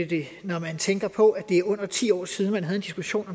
det når man tænker på at det er under ti år siden man havde en diskussion